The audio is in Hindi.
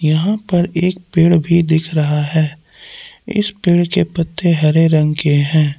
यहा पर एक पेड़ भी दिख रहा है इस पेड़ के पत्ते हरे रंग के है।